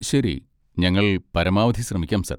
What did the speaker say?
ശരി, ഞങ്ങൾ പരമാവധി ശ്രമിക്കാം സർ.